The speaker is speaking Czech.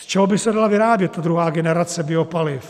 Z čeho by se dala vyrábět ta druhá generace biopaliv?